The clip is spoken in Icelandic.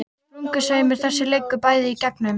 Sprungusveimur þessi liggur bæði í gegnum